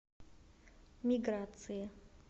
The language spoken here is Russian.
миграции